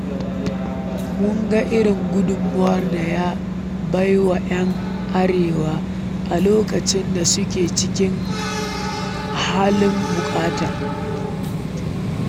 Mun ga irin gudunmawar da ya bai wa 'yan Arewa a lokacin da suke cikin halin buƙata